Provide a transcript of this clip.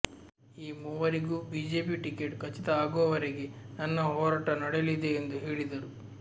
ಈ ಮೂವರಿಗೂ BJP ticket ಖಚಿತ ಆಗುವವರೆಗೆ ನನ್ನ ಹೋರಾಟ ನಡೆಯಲಿದೆ ಎಂದು ಹೇಳಿದರು